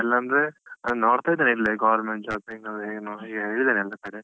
ಮನೆಯಲ್ಲಂದ್ರೆ, ಅಂದ್ರೆ ನೋಡ್ತಾ ಇದ್ದೇನೆ ಇಲ್ಲೆ government job ಏನು ಎಲ್ಲ ಕಡೆ.